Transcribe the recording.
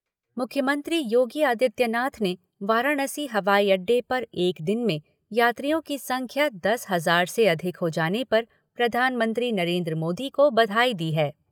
मुख्यमंत्री योगी आदित्यनाथ ने वाराणसी हवाई अड्डे पर एक दिन में यात्रियों की संख्या दस हजार से अधिक हो जाने पर प्रधानमंत्री नरेन्द्र मोदी को बधाई दी है।